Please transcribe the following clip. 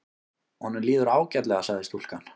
Honum líður ágætlega sagði stúlkan.